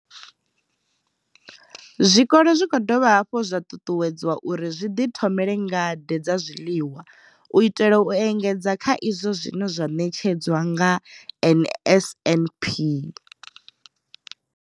Zwikolo zwi khou dovha hafhu zwa ṱuṱuwedzwa uri zwi ḓithomele ngade dza zwiḽiwa u itela u engedza kha izwo zwine zwa ṋetshedzwa nga NSNP.